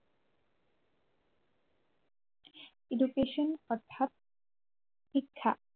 Education অৰ্থাৎ শিক্ষা